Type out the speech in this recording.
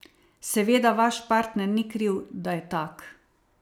Seveda vaš partner ni kriv, da je tak.